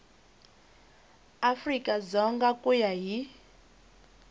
afrika dzonga ku ya hi